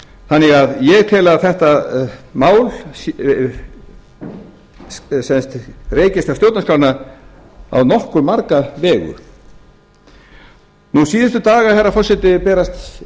þannig að ég tel að þetta mál rekist á stjórnarskrána á nokkuð marga vegu nú síðustu daga herra forseti berast